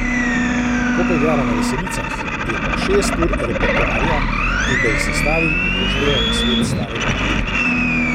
Ko pa igramo na veselicah, je pa šest ur repertoarja, in da jih sestavim, upoštevam nasvet starega ata.